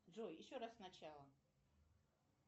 джой еще раз сначала